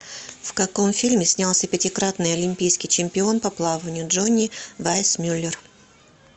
в каком фильме снялся пятикратный олимпийский чемпион по плаванию джонни вайсмюллер